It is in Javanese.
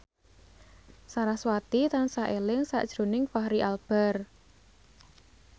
sarasvati tansah eling sakjroning Fachri Albar